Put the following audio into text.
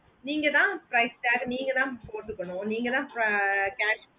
நீங்கதான் price tag நீங்கதான் பொடுகுனோ நீங்காத ஆஹ் cash